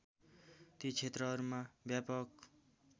ती क्षेत्रहरूमा व्यापक